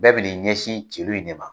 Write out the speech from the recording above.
Bɛɛ bi n'i ɲɛsin celu in ne ma.